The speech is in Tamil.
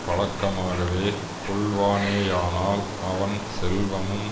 பழக்கமாகவே கொள்வானேயானால் அவன் செல்வமும்